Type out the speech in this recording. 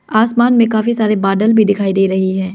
आसमान में काफी सारे बादल भी दिखाई दे रही हैं।